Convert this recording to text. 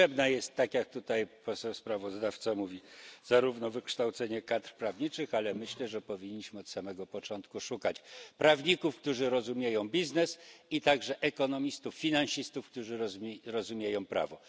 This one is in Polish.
Potrzebne jest, tak jak tutaj poseł sprawozdawca mówi, zarówno wykształcenie kadr prawniczych, ale myślę, że powinniśmy od samego początku szukać prawników, którzy rozumieją biznes i także ekonomistów, finansistów, którzy rozumieją prawo.